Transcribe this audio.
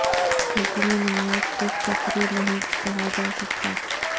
لیکن یہ نمائش صرف تفریح نہیں کہا جا سکتا